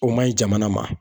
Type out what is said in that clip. O man ɲi jamana ma